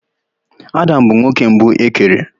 Adam bụ nwoke mbụ e kere.